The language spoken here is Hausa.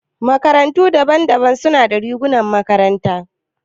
Makarantu daban-daban suna da rigunan makaranta.